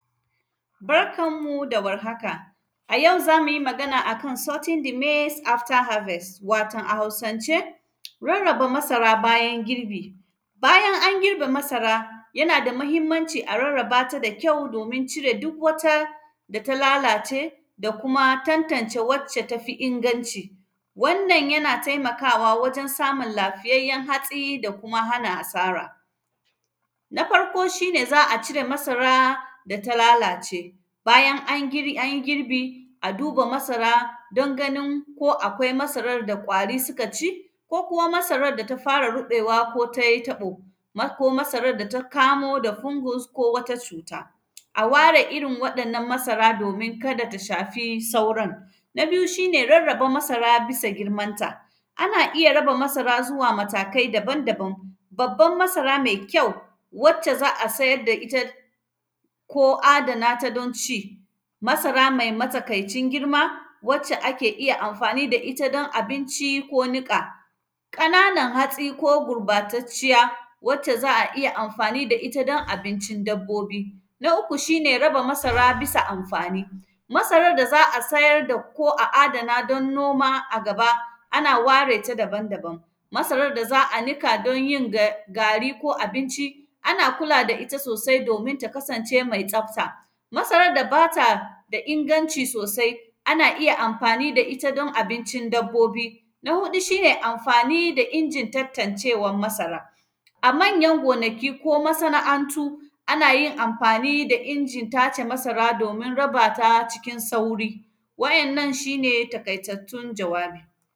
Barkan mu da warhaka, a yau, za mu yi magana a kan “sorting the maize after harvest”, watan a Hausance, rarraba masara bayan girbi. Bayan an girbe masara, yana da mahimmanci a rarraba ta da kyau, domin cire duk wata da ta lalace da kuma tantance wacce ta fi inganci. Wannan, yana temakawa wajen samun lafiyayyen hatsi da kuma hana asara. Na farko, shi ne za a cire masara da ta lalace, bayan an gir; an yi girbi, duba masara don ganin ko akwai masarar da ƙwari sika ci. Ko kuma, masarar da ta fara ruƃewa ko tai taƃo, ma; ko masarar da ta kamo da kumbus ko wata cuta. A ware irin waɗannan masara, domin kada ta shafi sauran. Na biyu, shi ne rarraba masara bisa girmanta. Ana iya raba masara zuwa matakai daban-daban, babban masara me kyau, wacce za a sayar da ita ko adana ta don ci, masara mai masakaicin girma wacce ake iya amfani da ita don abinci ko niƙa. Ƙananan hatsi ko gurbatacciya, wacce za a iya amfani da ita don abincin dabbobi. Na uku, shi ne raba masara bisa amfani, masarar da za a sayar da ko a adana, don noma a gaba, ana ware ta daban-daban. Masarar da za a nika don yin ga; gari ko abinci, ana kula da ita sosai domin ta kasance mai tsafta. Masarar da ba ta da inganci sosai, ana iya amfani da ita don abincin dabbobi. Na huɗu, shi ne amfani da injin tantancewan masara, a manyan gonaki ko masana’antu, ana yin amfani da injin tace masara domin raba ta cikin sauri, waɗannan, shi ne takaitattun jawabi.